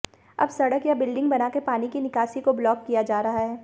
अब सड़क या बिल्डिंग बनाकर पानी की निकासी को ब्लॉक किया जा रहा है